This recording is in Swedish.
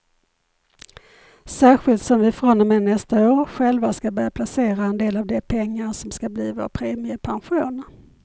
Särskilt som vi från och med nästa år själva ska börja placera en del av de pengar som ska bli vår premiepension.